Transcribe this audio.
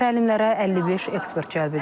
Təlimlərə 55 ekspert cəlb edilib.